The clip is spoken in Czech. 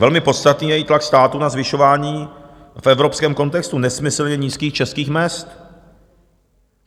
Velmi podstatný je i tlak státu na zvyšování v evropském kontextu nesmyslně nízkých českých mezd.